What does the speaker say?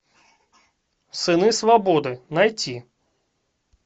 сыны свободы найти